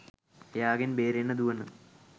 එයාගෙන් බේරෙන්න දුවන